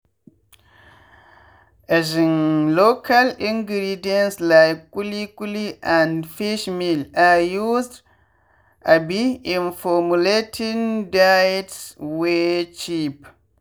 um local ingredients like kuli kuli and fishmeal are used um in formulating diets wey cheap.